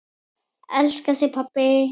Elska þig, pabbi.